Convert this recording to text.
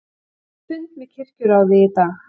Átti fund með kirkjuráði í dag